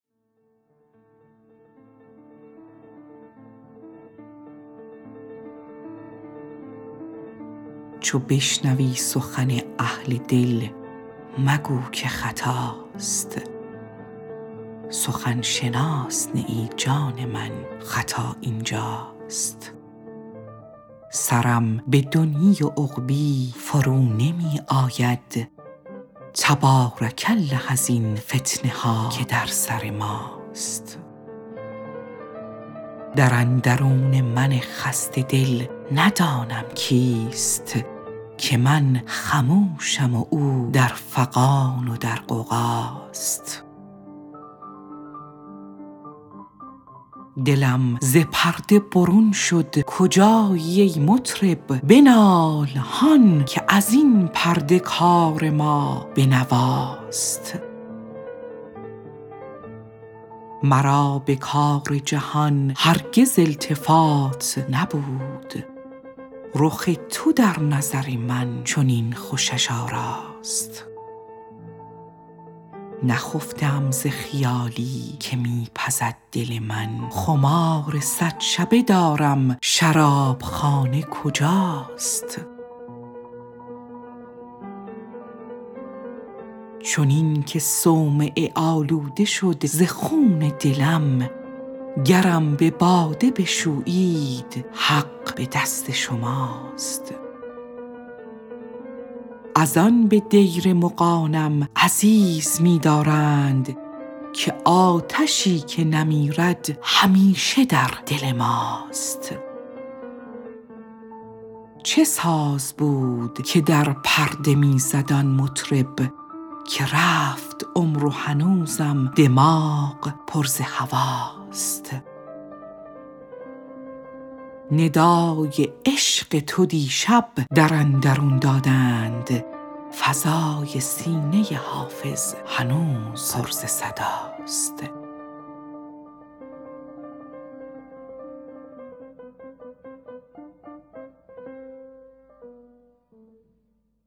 چو بشنوی سخن اهل دل مگو که خطاست سخن شناس نه ای جان من خطا این جاست سرم به دنیی و عقبی فرو نمی آید تبارک الله ازین فتنه ها که در سر ماست در اندرون من خسته دل ندانم کیست که من خموشم و او در فغان و در غوغاست دلم ز پرده برون شد کجایی ای مطرب بنال هان که از این پرده کار ما به نواست مرا به کار جهان هرگز التفات نبود رخ تو در نظر من چنین خوشش آراست نخفته ام ز خیالی که می پزد دل من خمار صد شبه دارم شراب خانه کجاست چنین که صومعه آلوده شد ز خون دلم گرم به باده بشویید حق به دست شماست از آن به دیر مغانم عزیز می دارند که آتشی که نمیرد همیشه در دل ماست چه ساز بود که در پرده می زد آن مطرب که رفت عمر و هنوزم دماغ پر ز هواست ندای عشق تو دیشب در اندرون دادند فضای سینه حافظ هنوز پر ز صداست